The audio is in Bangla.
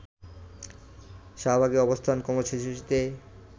শাহবাগের অবস্থান কর্মসূচিতে